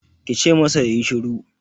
Ki ce masa ya yi sharo!